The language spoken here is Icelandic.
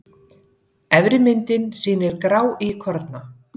Efri myndin sýnir gráíkorna.